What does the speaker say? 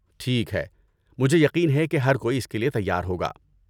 ٹھیک ہے، مجھے یقین ہے کہ ہر کوئی اس کے لیے تیار ہوگا۔